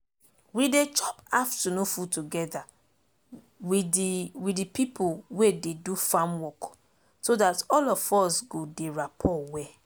we dey chop affunoon food togeda with de with de pipo wey dey do farm work so dat all of us go dey rappor well